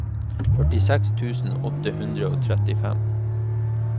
førtiseks tusen åtte hundre og trettifem